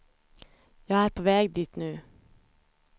Jag är på väg dit nu.